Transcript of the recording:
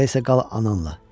Elə isə qal ananla.